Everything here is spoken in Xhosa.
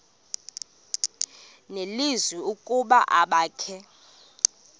nelizwi ukuba abakhe